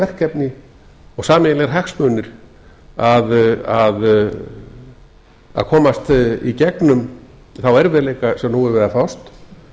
verkefni og sameiginlegir hagsmunir að komast í gegn um þá erfiðleika sem nú er við að fást